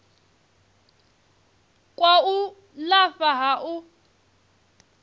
kwa u lafha ha u